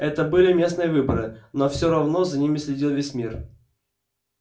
это были местные выборы но все равно за ними следил весь мир